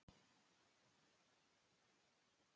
Hún vill hreina bleiu og mat.